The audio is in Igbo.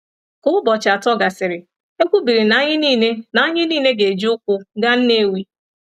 “Ka ụbọchị atọ gasịrị, e kwubiri na anyị nile na anyị nile ga-eji ụkwụ gaa Nnewi.